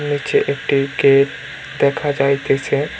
নীচে একটি গেট দেখা যাইতেছে।